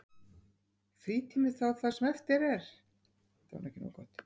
Frítími þá það sem eftir er?